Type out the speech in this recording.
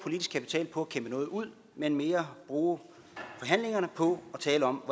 at kæmpe noget ud men mere bruge forhandlingerne på at tale om